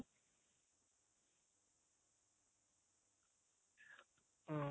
ହଁ